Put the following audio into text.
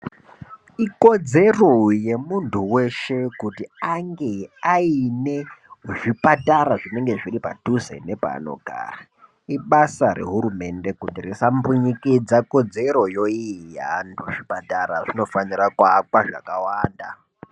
Ikodzero yemuntu veshe kuti ange aine zvipatara zvinenge zviri padhuze nepanogara. Ibasa rehurumende kuti risambunyikidze kodzeroyo iyi yeantu ezvipatara zvinofanira kuakwa zvakawanda.